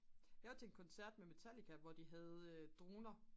jeg var til en koncert med metallica hvor de havde droner